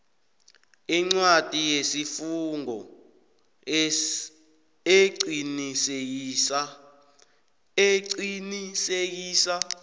incwadi yesifungo eqinisekisa